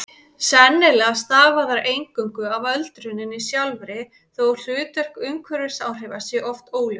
Sennilega stafa þær eingöngu af öldruninni sjálfri þó að hlutverk umhverfisáhrifa sé oft óljóst.